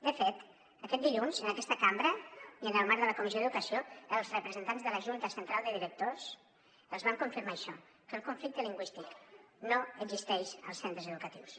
de fet aquest dilluns en aquesta cambra i en el marc de la comissió d’educació els representants de la junta central de directors els van confirmar això que el conflicte lingüístic no existeix als centres educatius